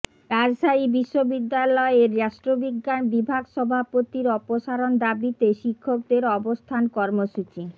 রাজশাহী বিশ্ববিদ্যালয়ের রাষ্ট্রবিজ্ঞান বিভাগ সভাপতির অপসারণ দাবিতে শিক্ষকদের অবস্থান কর্মসূচি